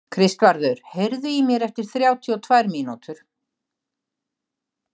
Kristvarður, heyrðu í mér eftir þrjátíu og tvær mínútur.